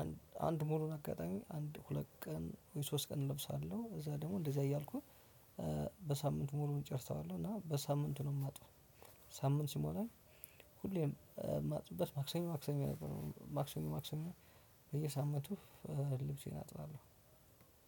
አንድ አንድ ሙሉ አጋጣሚ አንድ ሁለት ቀን ሶስት ቀን እለብሳለሁ እዛ ደግሞ እንደዚህ እያልኩኝ በሳምንቱ ሙሉውን እጨርሰዋለሁ። እና በሳምንቱ ነው የማጥበው። ሳምንት ሲሞላኝ ሁሌም የማጥብበት ማክሰኞ ማክሰኞ ነበር ማክሰኞ ማክሰኞ በየሳምንቱ ልብሴን አጥባለሁ።